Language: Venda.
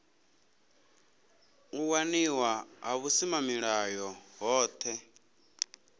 u waliwa ha vhusimamilayo hohe